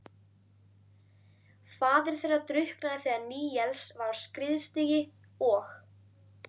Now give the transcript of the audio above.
Faðir þeirra drukknaði þegar Níels var á skriðstigi og